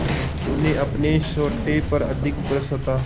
उन्हें अपने सोटे पर अधिक भरोसा था